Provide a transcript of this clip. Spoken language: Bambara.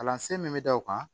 Kalansen min bɛ da o kan